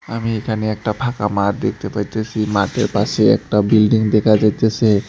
আমি এখানে একটা ফাঁকা মাঠ দেখতে পাইতেসি মাঠের পাশে একটা বিল্ডিং দেখা যাইতেসে।